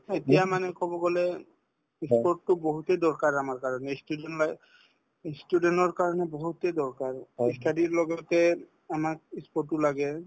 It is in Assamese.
এতিয়া মানে কব গলে ই sport তো বহুতে দৰকাৰ আমাৰ কাৰণে ই student life ই student ৰ কাৰণে বহুতে দৰকাৰ ই study ৰ লগতে আমাক ই sport ও লাগে